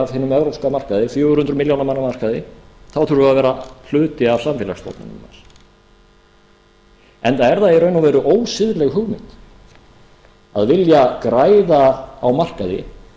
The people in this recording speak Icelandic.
hinum evrópska markaði fjögur hundruð milljóna manna markaði þurfum við að vera hluti af samfélagsstofnunum þess enda er það í raun og veru ósiðleg hugmynd að vilja græða á markaði